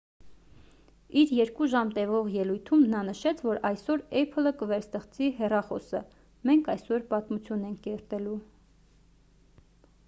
իր 2 ժամ տևող ելույթում նա նշեց որ «այսօր apple-ը կվերստեղծի հեռախոսը. մենք այսօր պատմություն ենք կերտելու»։